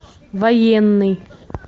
военный